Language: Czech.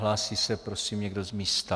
Hlásí se prosím někdo z místa?